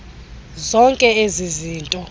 zonke ezi zinto